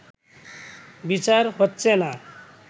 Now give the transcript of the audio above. বিচার হচ্ছে না